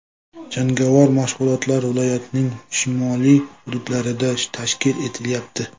Jangovar mashg‘ulotlar viloyatning shimoliy hududlarida tashkil etilayapti.